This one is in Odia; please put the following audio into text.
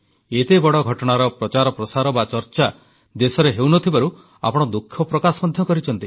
ଏତେ ବଡ଼ ଘଟଣାର ପ୍ରଚାର ପ୍ରସାର ବା ଚର୍ଚ୍ଚା ଦେଶରେ ହେଉନଥିବାରୁ ଆପଣ ଦୁଃଖ ପ୍ରକାଶ ମଧ୍ୟ କରିଛନ୍ତି